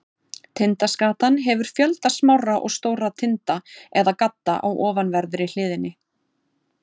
Tindaskatan hefur fjölda smárra og stórra tinda eða gadda á ofanverðri hliðinni.